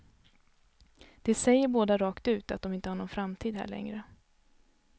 De säger båda rakt ut att de inte har någon framtid här längre.